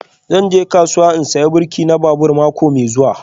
Zan je kasuwa in saya birki na babur mako mai zuwa